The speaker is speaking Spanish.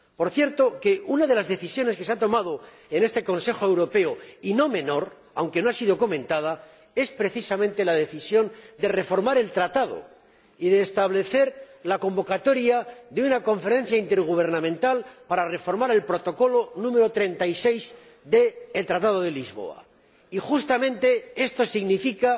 Por cierto que una de las decisiones que se ha tomado en este Consejo europeo y no menor, aunque no haya sido comentada es precisamente la decisión de reformar el Tratado y de establecer la convocatoria de una Conferencia Intergubernamental para reformar el Protocolo nº 36 del Tratado de Lisboa, y justamente esto significa,